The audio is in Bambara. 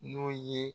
N'o ye